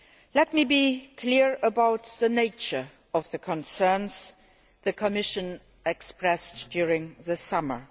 Let me be clear about the nature of the concerns the Commission expressed during the summer.